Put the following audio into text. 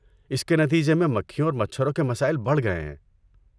اس کے نتیجے میں مکھیوں اور مچھروں کے مسائل بڑھ گئے ہیں۔